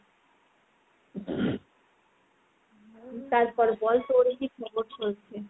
তারপর বল তোর কি খবর চলছে ?